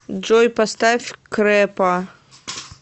джой поставь крэпа